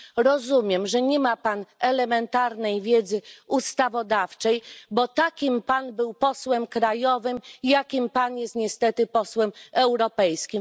Rozumiem, że nie ma Pan elementarnej wiedzy ustawodawczej, bo takim Pan był posłem krajowym, jakim Pan jest niestety posłem europejskim.